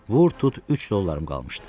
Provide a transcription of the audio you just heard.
Vur tut 3 dollarım qalmışdı.